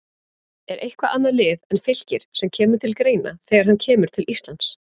Er eitthvað annað lið en Fylkir sem kemur til greina þegar hann kemur til Íslands?